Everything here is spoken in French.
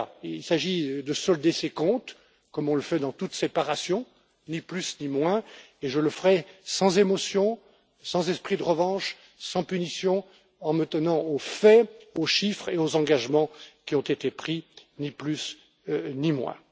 Il s'agit de solder ses comptes comme on le fait dans toute séparation, ni plus, ni moins, et je le ferai sans émotion, sans esprit de revanche, sans punition, en m'en tenant aux faits, aux chiffres et aux engagements qui ont été pris, ni plus, ni moins.